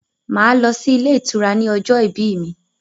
Màá lọ sí ilé ìtura ní ọjọ́ ìbí mí.